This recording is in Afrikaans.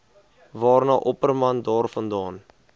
waarna opperman daarvandaan